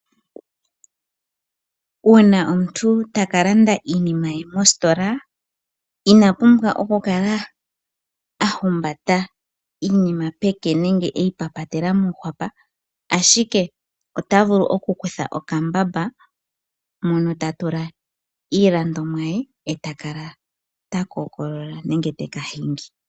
Uuna omuntu ta ka landa iinima ye mositola Ina pumbwa okukala a humbata iinima peke nenge e yi tula mokwaako, ashike o ta vulu okukutha okambamba mo no ta tula iilandomwa ye e ta kala te ka kookolola nenge te ka hingi.